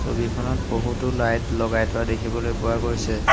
ছবিখনত বহুতো লাইট লগাই থোৱা দেখিবলৈ পোৱা গৈছে।